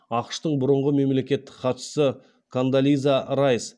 ақш тың бұрынғы мемлекеттік хатшысы кондолиза райс